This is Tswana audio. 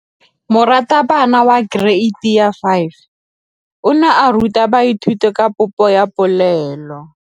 Moratabana wa kereiti ya 5 o ne a ruta baithuti ka popô ya polelô.